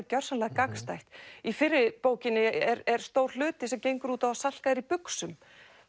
gjörsamlega gagnstætt í fyrri bókinni er er stór hluti sem gengur út á að Salka er í buxum